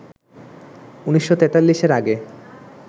১৯৪৩-এর আগে